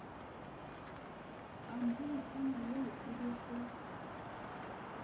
pampitshana eo e be se